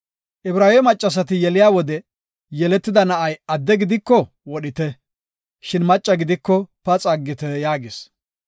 “Ibraawe maccasati yeliya wode yeletida na7ay adde gidiko wodhite, shin macca gidiko paxa aggite” yaagis.